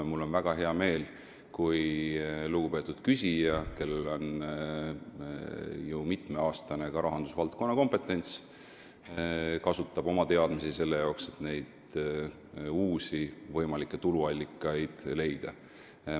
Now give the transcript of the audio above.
Ja mul on väga hea meel, kui lugupeetud küsija, kellel on ju ka mitmeaastane kompetents rahandusvaldkonnas, kasutab oma teadmisi selleks, et neid uusi võimalikke tuluallikaid leida.